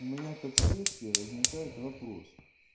у меня как следствие возникает вопрос